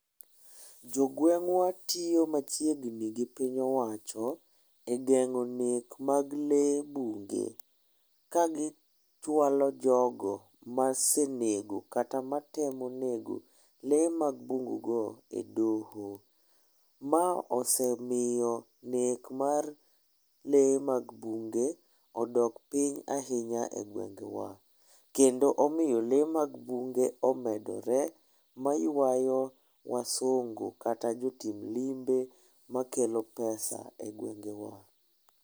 Jogweng'wa tiyo machiegni gi piny owacho e geng'o nek mag lee bunge ka gichwalo jogo masenego kata matemo nego lee mag bungu go e doho. Ma osemiyo nek mar lee mag bunge odok piny ahinya e gwengewa .Kendo omiyo lee mag bunge omedore ma ywayo wasungu kata jotim limbe makelo pesa e gwengewa.